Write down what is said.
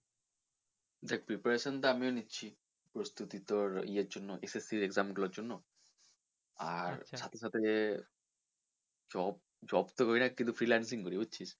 দেখ preparation তোর আমিও নিচ্ছি প্রস্তুতি তোর ইয়ের জন্য SSC exam গুলোর জন্য আর সাথে সাথে যে job, job তো করিনা কিন্তু freelancing করি বুঝছিস?